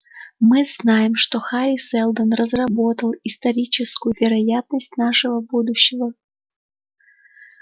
мы знаем что хари сэлдон разработал историческую вероятность нашего будущего